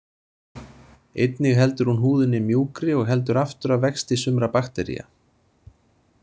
Einnig heldur hún húðinni mjúkri og heldur aftur af vexti sumra baktería.